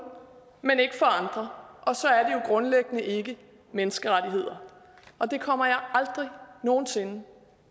men ikke for andre og så er det jo grundlæggende ikke menneskerettigheder og det kommer jeg aldrig nogen sinde